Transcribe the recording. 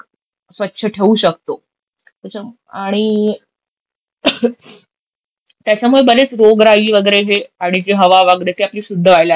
स्वच्छ ठेऊ शकतो. त्याचा आणि ing त्याच्यामुळे बरेच रोगराई वेगेरे हे आणि जे हवा वेगेरे ते आपली शुद्ध व्हायला लागेल.